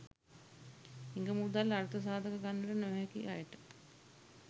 හිඟ මුදල් අර්ථ සාධක ගන්නට නොහැකි අයට